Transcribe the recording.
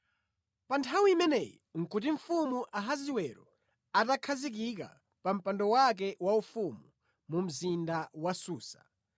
Pa nthawi imeneyi nʼkuti mfumu Ahasiwero atakhazikika pa mpando wake wa ufumu mu mzinda wa Susa,